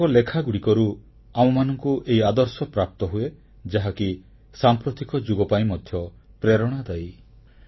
ତାଙ୍କ ଲେଖାଗୁଡ଼ିକରୁ ଆମମାନଙ୍କୁ ଏହି ଆଦର୍ଶପ୍ରାପ୍ତ ହୁଏ ଯାହାକି ସାମ୍ପ୍ରତିକ ଯୁଗ ପାଇଁ ମଧ୍ୟ ପ୍ରେରଣାଦାୟୀ